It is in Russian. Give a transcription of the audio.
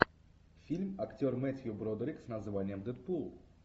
фильм актер мэттью бродерик с названием дэдпул